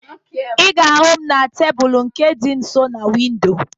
Ị ga-ahụ m na tebulu nke dị nso na windo